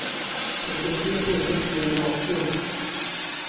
trettiotre tusen trehundraåttio